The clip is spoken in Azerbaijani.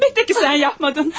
Əlbəttə ki, sən etmədin.